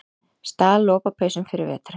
Stal lopapeysum fyrir veturinn